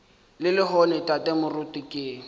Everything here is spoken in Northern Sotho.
le lehono tate moruti ke